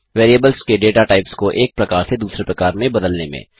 variables के data types को एक प्रकार से दूसरे प्रकार में बदलने में